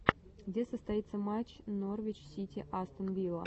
где состоится матч норвич сити астон вилла